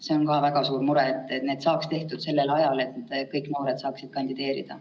See on ka väga suur mure, et need saaks tehtud sellel ajal, et kõik noored saaksid kandideerida.